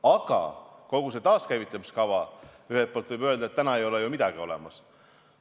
Aga kogu see taaskäivitamiskava – ühelt poolt võib öelda, et täna ei ole ju midagi olemas.